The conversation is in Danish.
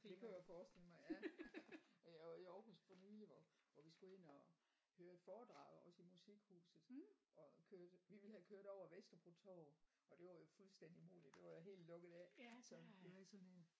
Det kunne jeg forestille mig ja øh og i Aarhus for nylig hvor hvor vi skulle ind og høre et foredrag også i Musikhuset og kørte vi ville have kørt over Vesterbro Torv og det var jo fuldstændig umuligt det var jo helt lukket af så vil du have sådan én?